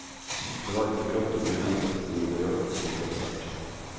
Det var ikke brått og uventet, men det berørte oss likevel sterkt.